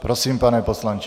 Prosím, pane poslanče.